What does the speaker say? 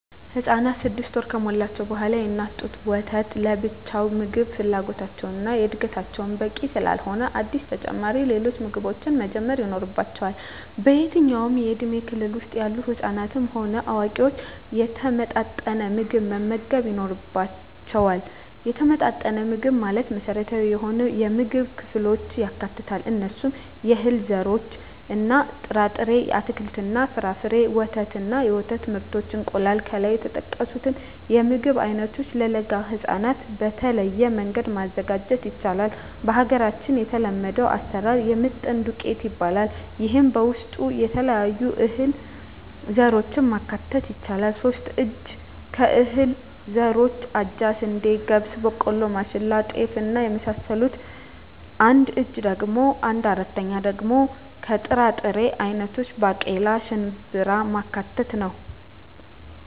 ህፃናት ስድስት ወር ከሞላቸዉ በኋላ የእናት ጡት ወተት ለብቻዉ የምግብ ፍላጎታቸዉን እና ለእድገታቸዉ በቂ ስላልሆነ አዲስ ተጨማሪ ሌሎች ምግቦችን መጀመር ይኖሮባቸዋል በየትኛዉም የእድሜ ክልል ዉስጥ ያሉ ህፃናትም ሆነ አዋቂዎች የተመጣጠነ ምግብ መመገብ ይኖርባየዋል የተመጣጠነ ምግብ ማለት መሰረታዊ የሆኑየምግብ ክፍሎችን ያካትታል እነርሱም - የእህል ዘሮችእና ጥራጥሬዎች - አትክልትና ፍራፍሬ - ወተት እና የወተት ምርቶች - እንቁላል ከላይ የተጠቀሱትን የምግብ አይነቶች ለለጋ ህፃናት በተለየ መንገድ ማዘጋጀት ይቻላል በሀገራችን የተለመደዉ አሰራር የምጥን ዱቄት ይባላል ይሄም በዉስጡ የተለያዩ የእህል ዘሮችን ማካተት ይቻላል ሶስት እጂ (3/4) ከእህል ዘሮች አጃ፣ ስንዴ፣ ገብስ፣ ቦቆሎማሽላ፣ ጤፍ እና የመሳሰሉት አንድ እጂ(1/4)ደሞ ከጥራጥሬ አይነቶች ባቄላ፣ ሽንብራማካተት ነዉ